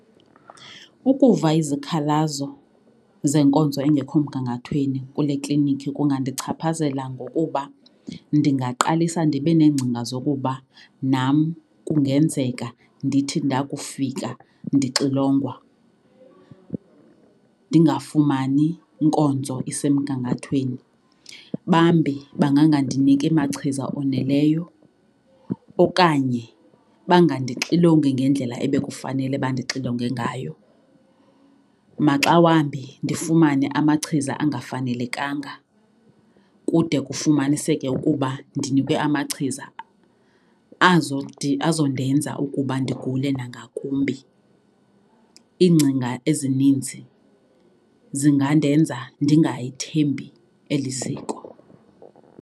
Ukuva izikhalazo zenkonzo engekho mgangathweni kule klinikhi kungandichaphazela ngokuba ndingaqalisa ndibe neengcinga zokuba nam kungenzeka ndithi ndakufika ndinxilongwa ndingafumani nkonzo isemgangathweni. Bambi bangangandiniki machiza oneleyo okanye bangandixilongi ngendlela ebekufanele bandixilonge ngayo. Maxa wambi ndifumane amachiza angafanelekanga kude kufumaniseke ukuba ndinikwe amachiza azo azondenza ukuba ndigule nangakumbi. Iingcinga ezininzi zingandenza ndingayithembi eli ziko.